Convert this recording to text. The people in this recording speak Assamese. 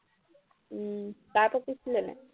উম তাৰ পকিছিলে নাই